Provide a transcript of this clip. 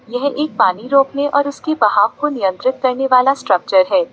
यह एक पानी रोकने वाला और उसके बाहर को नियंत्रित करने वाला स्ट्रक्चर है।